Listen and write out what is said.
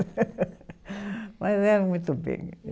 Mas era muito